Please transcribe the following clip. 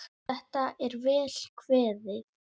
Þetta er vel kveðið.